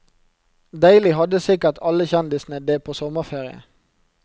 Deilig hadde sikkert alle kjendisene det på sommerferie.